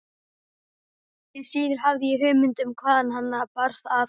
Því síður hafði ég hugmynd um hvaðan hana bar að.